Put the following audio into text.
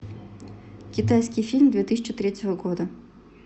китайский фильм две тысячи третьего года